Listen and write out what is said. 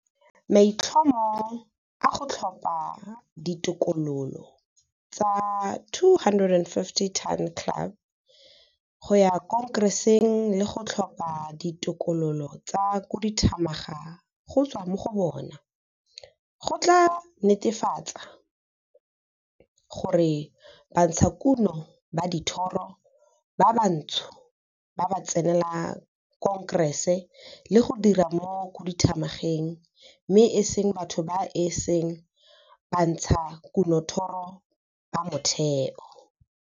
Maitlhomo a go tlhopha ditokololo tsa 250 Ton Club go ya Khonkereseng le go tlhopa ditokololo tsa Khuduthamaga go tswa mo go bona, go tlaa netefatsa gore bantshakuno ba dithoro ba bantsho ba tsenela Khonkerese le go dira mo Khuduthamageng mme e seng batho ba e seng bantshakunothoro ba motheo.